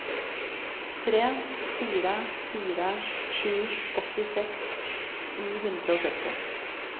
tre fire fire sju åttiseks ni hundre og sytti